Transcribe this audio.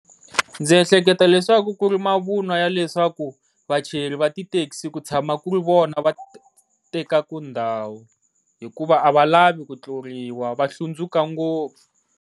Ndzi ehleketa leswaku ku ri mavunwa ya leswaku vachayeri va ti thekisi ku tshama ku ri vona va tekaku ndhawu, hikuva a va lavi ku tluriwa va hlundzuka ngopfu.